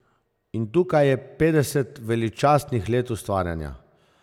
In tukaj je petdeset veličastnih let ustvarjanja.